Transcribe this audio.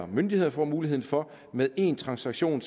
myndighederne får mulighed for med én transaktion